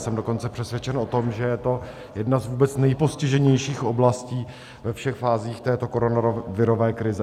Jsem dokonce přesvědčen o tom, že je to jedna z vůbec nejpostiženějších oblastí ve všech fázích této koronavirové krize.